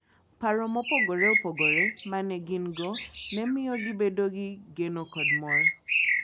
Paro mopogore opogore ma ne gin - go ne miyo gibedo gi geno kod mor.